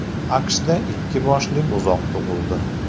AQShda ikki boshli buzoq tug‘ildi.